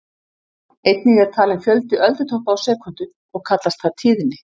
Einnig er talinn fjöldi öldutoppa á sekúndu og kallast það tíðni.